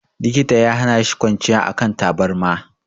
Likita ya hana shi kwanciya a kan tabarma.